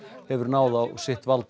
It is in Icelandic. hefur náð á sitt vald